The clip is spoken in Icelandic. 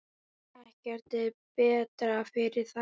Ekkert er betra fyrir þær.